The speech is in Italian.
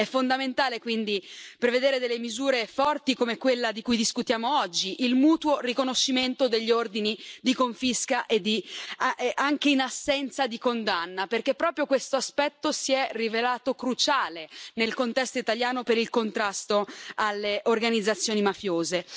È fondamentale, quindi, prevedere misure forti come quella di cui discutiamo oggi, il mutuo riconoscimento degli ordini di confisca anche in assenza di condanna, perché proprio questo aspetto si è rivelato cruciale nel contesto italiano per il contrasto alle organizzazioni mafiose.